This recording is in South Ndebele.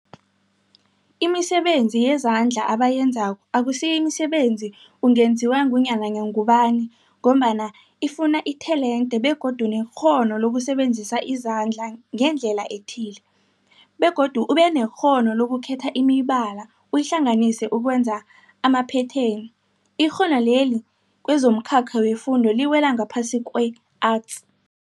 Imisebenzi yezandla abayenzako akusiyo imisebenzi ungenziwa ngunyana ngubani mgombana ifuna itelente begodu nekghono lokusebenzisa izandla ngendlela ethile, begodu ubenekghono lokukhetha imibala uyihlanganise ukwenza amaphetheni. Ikghono leli kwezomkhakha wefundo liwela ngaphasi kwe-Arts.